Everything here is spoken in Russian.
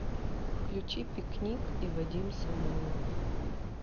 включи пикник и вадим самойлов